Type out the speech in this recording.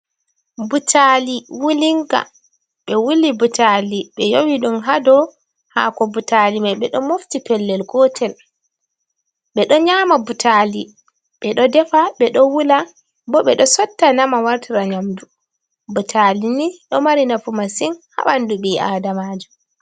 Butali wulinga ɓe wuli butali ɓe yowi ɗum hado hako butali mai ɓe ɗo mofti pellel gotel ɓe ɗo nyama butali, ɓe ɗo defa, ɓe ɗo wula, bo ɓe ɗo sotta nama wartira nyamdu butali ni ɗo mari nafu masin ha ɓandu ɓii adamajo.